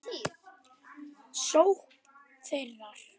sókn þeirra?